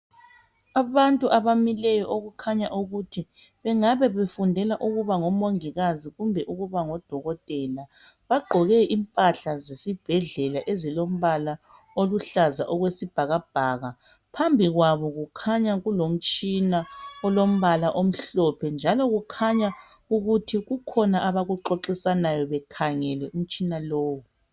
abantu abamileyo okukhanya ukuthi bengabe befundela ukuba ngomongikazi kumbe ukuba odokotela bagqoke impahla zesibhedlela ezilompala oluhlaza okwesibhakabhaka phambili kwabo kukhanya kulomtshina olompala omhlophe njalo kukhanya ukuthi kukhona abakuxoxisanayo bekhangele umtshina lowo